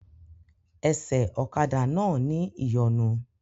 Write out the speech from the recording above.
Ẹsẹ̀ ọ̀kadà náà ní ìyọnu